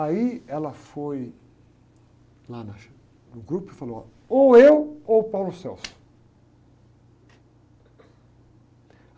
Aí ela foi lá na, no grupo e falou, ó, ou eu ou.